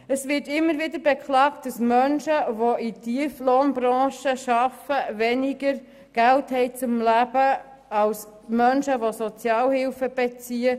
Es wird immer wieder beklagt, dass Menschen, die in Tieflohnbranchen arbeiten, weniger Geld zum Leben haben als Menschen, die Sozialhilfe beziehen.